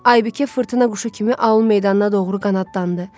Aybıkə fırtına quşu kimi aul meydanına doğru qanadlandı.